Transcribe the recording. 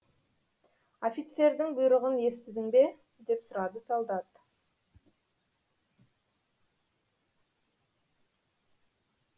офицердің бұйрығын естідің бе деп сұрады солдат